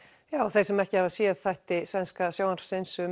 þeir sem ekki hafa séð þætti sænska sjónvarpsins um